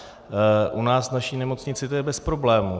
U nás v naší nemocnici to je bez problémů.